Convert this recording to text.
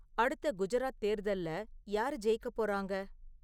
அடுத்த குஜராத் தேர்தல்ல யாரு ஜெயிக்கப் போறாங்க?